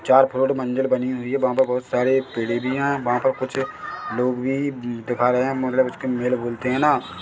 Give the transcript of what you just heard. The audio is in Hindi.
चार फ्लोर मंजिल बनी हुई है वहाँ पे बहुत सारे पेड़े भी है वहाँ पे कुछ लोग भी ब दिखा रहे है मगर उसके मेल बोलते है ना।